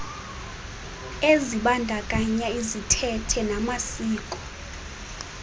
ezibandakanya izithethe namasiko